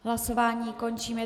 Hlasování končím.